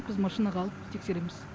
біз машинаға алып тексереміз